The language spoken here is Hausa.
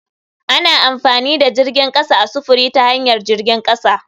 Ana amfani da jirgin kasa a sufuri ta hanyar jirgin kasa.